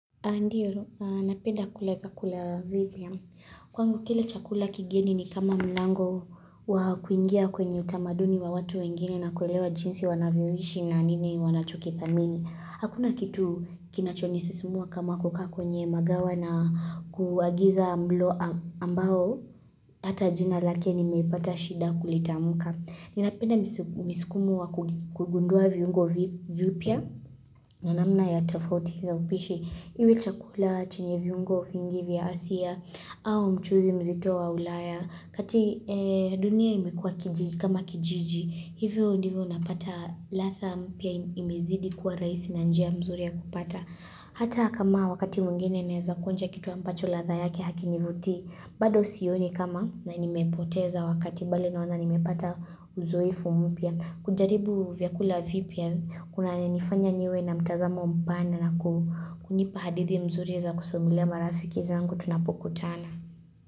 Ndio, napenda kula vyakula vipya Kwangu kile chakula kigeni ni kama mlango wa kuingia kwenye utamaduni wa watu wengine na kuelewa jinsi wanavyoishi na nini wanachokithamini. Hakuna kitu kinachonisimua kama kuka kwenye magawa na kuagiza mlo ambao hata jina lake nimepata shida kulitamka. Ninapenda misikumo wa kugundua viungo vipya. Na namna ya tofauti zaupishi, iwe chakula chenye viungo vingi vya hasia, au mchuzi mzito wa ulaya, kati dunia imekuwa kijiji kama kijiji, hivyo ndivyo unapata ladha mpya imezidi kuwa rahisi na njia mzuri ya kupata. Hata kama wakati mwingine naeza kuonja kitu ambacho ladha yake hakinivuti, bado sioni kama na nimepoteza wakati bali naona nimepata uzoefu mpya. Kujaribu vyakula vipya, kuna nifanya niwe na mtazamo mpana na kunipa hadithi mzuri za kusumulia marafiki zangu, tunapoku tana.